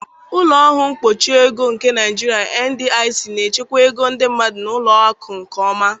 Ụlọ ọrụ mkpuchi ego nke Naijiria (NDIC) na-echekwa ego ndị mmadụ na ụlọ akụ nke ọma.